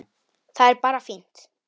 Það er bara fínt.